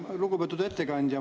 Lugupeetud ettekandja!